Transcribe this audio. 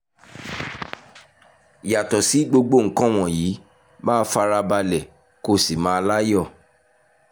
yàtọ̀ sí gbogbo nǹkan wọ̀nyí máa fara balẹ̀ kó o sì máa láyọ̀